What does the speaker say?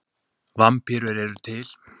vampírur eru til